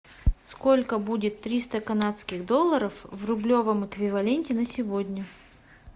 сколько будет триста канадских долларов в рублевом эквиваленте на сегодня